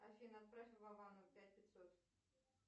афина отправь вовану пять пятьсот